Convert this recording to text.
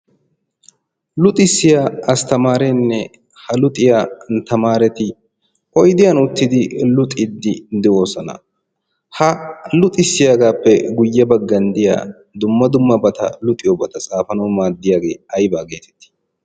luxxisiya astamaarene ha luxxissiya tamaareti oydiyan uttidi luxiidi de'oosona. ha luxxisiya gaappe guye bagaara diya dumma dummabay aybaa geetettii?